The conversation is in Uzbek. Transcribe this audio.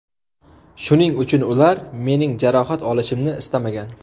Shuning uchun ular mening jarohat olishimni istamagan.